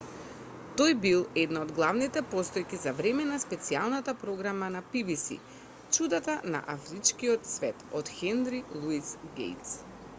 тој бил една од главните постојки за време на специјалната програма на pbs чудата на афричкиот свет од хенри луис гејтс